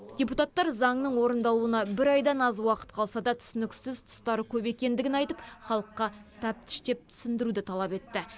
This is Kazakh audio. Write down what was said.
депутаттар заңның орындалуына бір айдан аз уақыт қалса да түсініксіз тұстары көп екендігін айтып халыққа тәптіштеп түсіндіруді талап етті